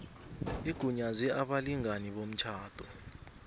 igunyaze abalingani bomtjhado